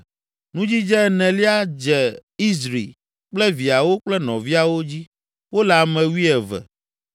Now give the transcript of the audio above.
Nudzidze enelia dze Izri kple viawo kple nɔviawo dzi; wole ame wuieve.